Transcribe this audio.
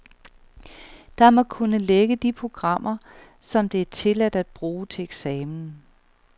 Der må kun ligge de programmer, som det er tilladt at bruge til eksamen.